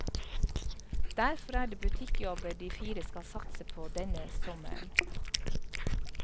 Derfor er det butikkjobber de fire skal satse på denne sommeren.